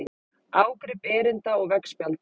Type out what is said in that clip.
Ágrip erinda og veggspjalda.